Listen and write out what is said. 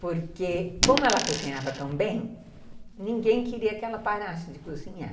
Porque, como ela cozinhava tão bem, ninguém queria que ela parasse de cozinhar.